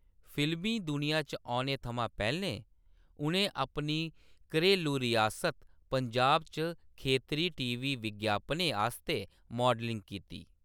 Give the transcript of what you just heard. फिल्मी दुनिया च औने थमां पैह्‌‌‌लें, उʼनें अपनी घरैलू रियासत पंजाब च खेतरी टी.वी. विज्ञापनें आस्तै माडलिंग कीती।